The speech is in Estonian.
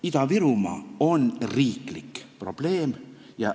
Ida-Virumaa on riiklik probleem.